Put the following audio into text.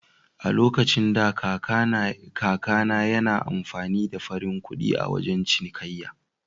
A lokacin da, kaka na yana amfani da farin kuɗi a wajan cinikayya.